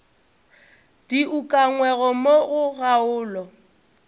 di ukangwego mo go kgaolo